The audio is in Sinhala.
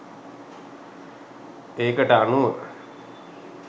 ඒකට අනුව